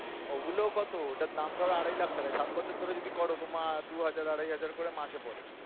ওগুলো কত ওটার দাম ধরো আড়াই লাখ টাকা সাত বছর ধরে যদি করো তোমার দুই হাজার আড়াই হাজার করে মাসে পরে।